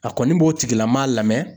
A kɔni b'o tigilama lamɛn.